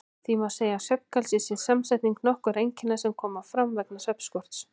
Því má segja að svefngalsi sé samsetning nokkurra einkenna sem koma fram vegna svefnskorts.